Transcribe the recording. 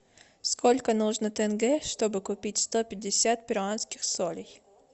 сколько нужно тенге чтобы купить сто пятьдесят перуанских солей